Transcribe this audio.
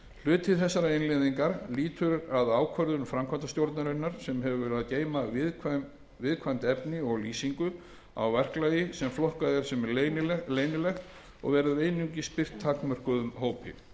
hluti þessarar innleiðingar lýtur að ákvörðun framkvæmdastjórnarinnar sem hefur að geyma viðkvæmt efni og lýsingu á verklagi sem flokkað er sem leynilegt og verður einungis birt takmörkuðum hópi er